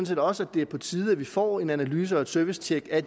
set også at det er på tide at vi får en analyse og et servicetjek af